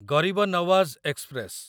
ଗରିବ ନୱାଜ ଏକ୍ସପ୍ରେସ